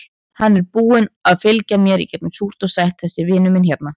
Hann er búinn að fylgja mér í gegnum súrt og sætt, þessi vinur minn hérna.